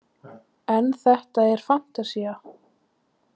En þetta er fantasía.